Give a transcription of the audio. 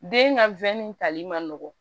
Den ka wɛnin tali man nɔgɔn